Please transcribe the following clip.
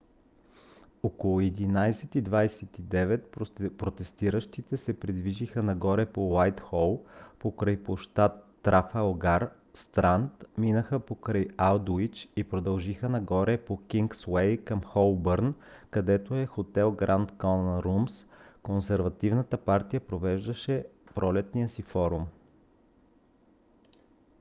около 11:29 протестиращите се придвижиха нагоре по уайтхол покрай площад трафалгар странд минаха покрай алдуич и продължиха нагоре по кингсуей към холбърн където в хотел гранд конът румс консервативната партия провеждаше пролетния си форум